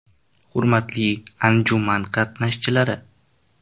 Hurmatli anjuman qatnashchilari!